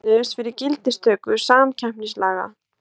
Sameinuðust fyrir gildistöku samkeppnislaga